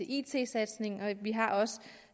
it satsning og vi har også